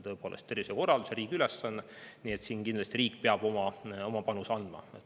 Tõepoolest on tervisekorraldus riigi ülesanne, nii et riik peab kindlasti oma panuse andma.